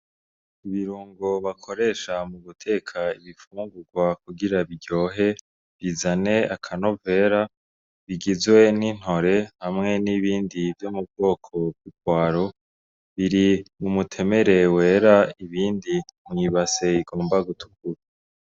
Ibirungo bakoresha mu guteka ibifungurwa kugira biryohe bizane akanovera, bigizwe n'intore hamwe nibindi vyo mu bwoko bw'ipwaro biri mu muremure wera ibindi mw'ibase igomba gutukura.